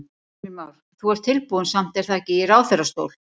Heimir Már: Þú ert tilbúinn samt er það ekki í ráðherrastól?